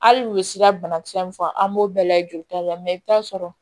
Hali u bɛ sira bana kisɛ mun fɔ an b'o bɛɛ layɛ joli ta la i bi taa sɔrɔ